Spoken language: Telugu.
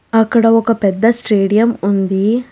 అక్కడ ఒక పెద్ద స్టేడియం ఉంది.